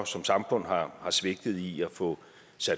som samfund har svigtet i at få